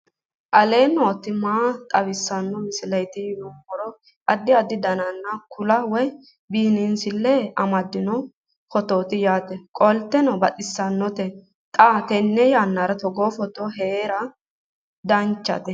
aleenni nooti maa xawisanno misileeti yinummoro addi addi dananna kuula woy biinsille amaddino footooti yaate qoltenno baxissannote xa tenne yannanni togoo footo haara danvchate